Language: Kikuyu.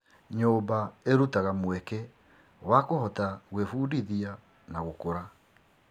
Nyũmba ĩrutaga mweke wa kũhota gwĩbundithia na gũkũra.